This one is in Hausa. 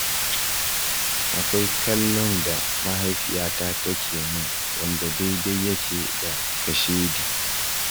Akwai kallon da mahaifiyata take min wanda daidai yake da kashedi.